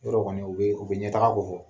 Yɔrɔ kɔni u bɛ u bɛ ɲɛtaga ko fɔ.